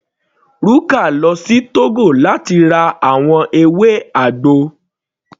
Ruka lọ sí Togo láti ra àwọn ewé àgbo.